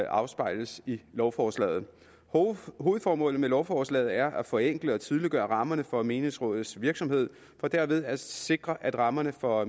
afspejles i lovforslaget hovedformålet med lovforslaget er at forenkle og tydeliggøre rammerne for menighedsrådets virksomhed for derved at sikre at rammerne for